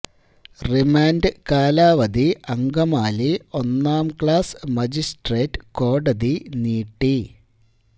remand കാലാവധി അങ്കമാലി ഒന്നാം class magistrate കോടതി നീട്ടി